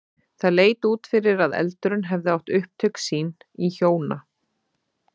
Það leit út fyrir að eldurinn hefði átt upptök sín í hjóna